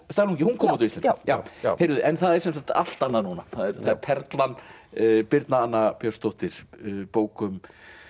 Stalín ungi hún kom út á íslensku já já heyrðu en það er sem sagt allt annað núna það er Perlan birna Anna Björnsdóttir bók um